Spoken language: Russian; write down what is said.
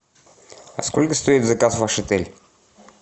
сколько стоит заказ в ваш отель